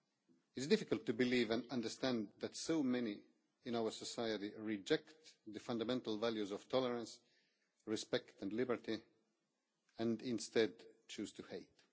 It is difficult to believe and understand that so many in our society reject the fundamental values of tolerance, respect and liberty, and instead choose to hate.